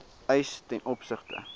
eis ten opsigte